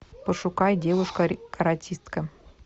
пошукай девушка каратистка